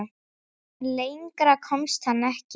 En lengra komst hann ekki.